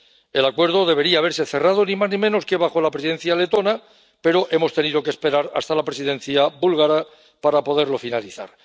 El acuerdo debería haberse cerrado ni más ni menos que bajo la Presidencia letona, pero hemos tenido que esperar hasta la Presidencia búlgara para poderlo finalizar.